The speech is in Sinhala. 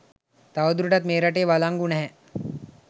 තවදුරටත් මේ රටේ වලංගු නෑ.